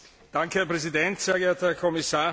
Herr Präsident, sehr geehrter Herr Kommissar!